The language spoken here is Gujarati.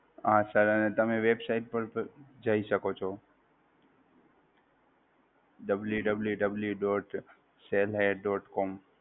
હા Sir અને તમે website પર પણ જઈ શકો છો, www dot sell hay dot com.